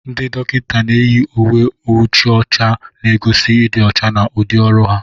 Ndị dọkịnta na-eyi uwe nwuchi ọcha na-egosi ịdị ọcha na udị ọrụ ha.